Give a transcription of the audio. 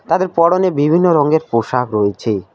তাদের পরনে বিভিন্ন রঙের পোশাক রয়েছে।